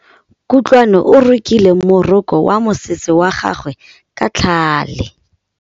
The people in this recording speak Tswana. Kutlwanô o rokile morokô wa mosese wa gagwe ka tlhale.